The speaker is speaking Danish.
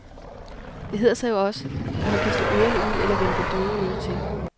Det hedder sig jo også, at man kan slå ørerne ud, eller vende det døve øre til.